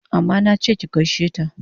Amma nache ki gaishe ta!